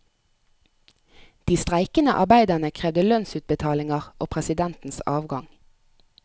De streikende arbeiderne krevde lønnsutbetalinger og presidentens avgang.